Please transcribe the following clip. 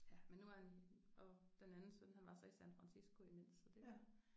Ja men nu er han og den anden søn han var så i San Fransisco imens så det